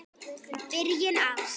Byrjun árs.